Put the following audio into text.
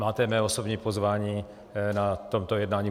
Máte mé osobní pozvání na toto jednání.